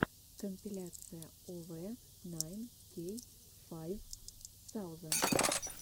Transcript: компиляция овэ найн кей файв саузенд